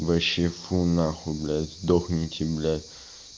вообще фу нахуй блядь сдохните бля